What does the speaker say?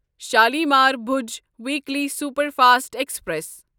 Shalimar Bhuj weekly superfast express